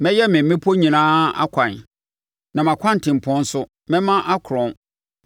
Mɛyɛ me mmepɔ nyinaa akwan, na mʼakwantempɔn nso mɛma akorɔn.